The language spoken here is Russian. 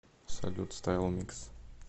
салют стайл микс